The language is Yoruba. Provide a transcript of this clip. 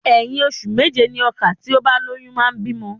Ẹ̀yin ọṣù méje ni ọka tí ó bá lóyún máa bímọ.